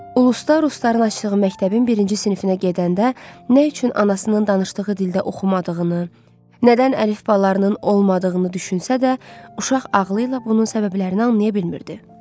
Ulusda rusların açdığı məktəbin birinci sinifinə gedəndə nə üçün anasının danışdığı dildə oxumadığını, nədən əlifbalarının olmadığını düşünsə də, uşaq ağlı ilə bunun səbəblərini anlaya bilmirdi.